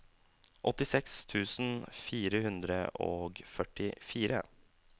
åttiseks tusen fire hundre og førtifire